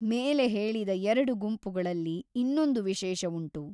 ಮೇಲೆ ಹೇಳಿದ ಎರಡು ಗುಂಪುಗಳಲ್ಲಿ ಇನ್ನೊಂದು ವಿಶೇಷವುಂಟು.